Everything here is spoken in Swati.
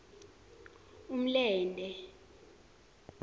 umlente